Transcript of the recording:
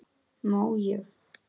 Má ég?